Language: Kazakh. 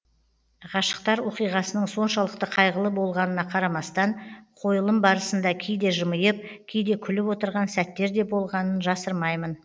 ғашықтар оқиғасының соншалықты қайғылы болғанына қарамастан қойылым барысында кейде жымиып кейде күліп отырған сәттер де болғанын жасырмаймын